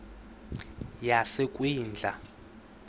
yasekwindla